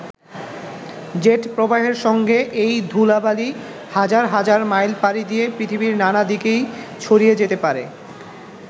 Jet প্রবাহের সঙ্গে এই ধূলা-বালি হাজার হাজার মাইল পাড়ি দিয়ে পৃথিবীর নানা দিকেই ছড়িয়ে যেতে পারে।